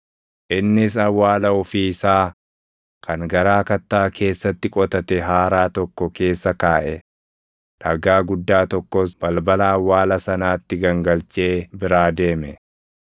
innis awwaala ofii isaa kan garaa kattaa keessatti qotate haaraa tokko keessa kaaʼe. Dhagaa guddaa tokkos balbala awwaala sanaatti gangalchee biraa deeme.